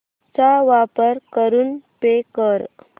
चा वापर करून पे कर